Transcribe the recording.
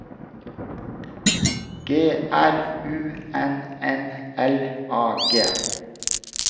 G R U N N L A G